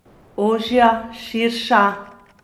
Ožja, širša?